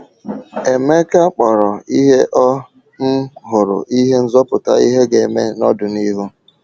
Emeka kpọrọ ihe o um hụrụ ihe nzọpụta, ihe ga-eme n’ọdịnihu.